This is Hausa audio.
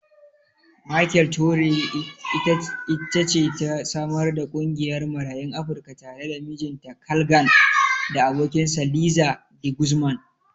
Michele Torrey it ce ta samar da ƙungiyar Marayun Afrika tare da mijinta Carl Gann da abokinsa Liza De Guzman.